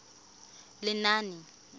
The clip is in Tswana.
lenaane